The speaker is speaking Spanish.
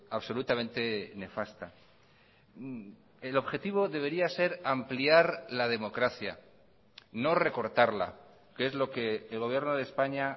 absolutamente nefasta el objetivo debería ser ampliar la democracia no recortarla que es lo que el gobierno de españa